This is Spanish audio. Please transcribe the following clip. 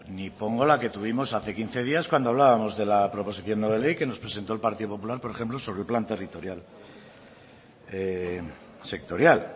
ni pongo la que tuvimos hace quince días cuando hablábamos de la proposición no de ley que nos presentó el partido popular por ejemplo sobre el plan territorial sectorial